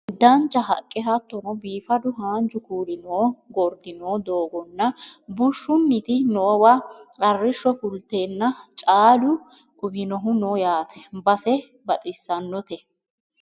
Dancha haqqe hattono biifadu haanju kuuli noo gordi no doogono bushshunniti noowa arrishsho fulteenna caalu uwinohu no yaate base baxissannote